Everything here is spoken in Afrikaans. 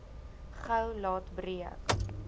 gou laat breek